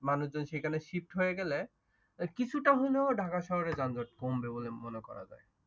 মানুষজন সেখানে shift হয়ে গেলে কিছুটা হইলেও ঢাকা শহরের যানজট কমবে বলে মনে করা যায়,